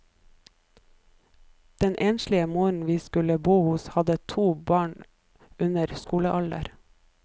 Den enslige moren vi skulle bo hos, hadde to barn under skolealder.